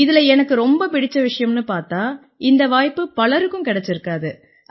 இதில எனக்கு ரொம்ப பிடிச்ச விஷயம்னு பார்த்தா இந்த வாய்ப்பு பலருக்கும் கிடைச்சிருக்காது